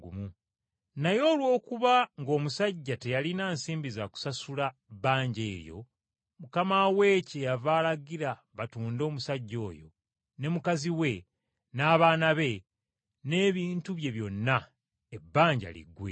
Naye olw’okuba ng’omusajja teyalina nsimbi za kusasula bbanja eryo, mukama we kyeyava alagira batunde omusajja oyo ne mukazi we n’abaana be n’ebintu bye byonna ebbanja liggwe.